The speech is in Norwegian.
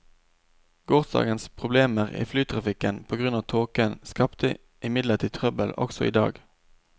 Gårsdagens problemer i flytrafikken på grunn av tåken skapte imidlertid trøbbel også i dag.